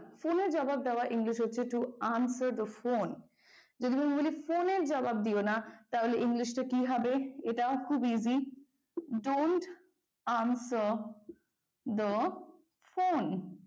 phone এর জবাব দেওয়ার english হচ্ছে to answer the phone phone এর জবাব দিও না তাহলে english কি হবে? এটাও খুব easy, don't answer the phone